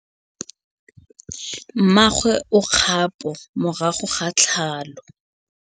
Mmagwe o kgapô morago ga tlhalô.